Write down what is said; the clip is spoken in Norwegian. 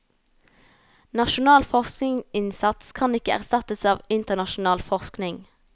Nasjonal forskningsinnsats kan ikke erstattes av internasjonal forskning.